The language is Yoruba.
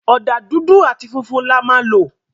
Ọ̀dà dúdú áti funfun là má lọ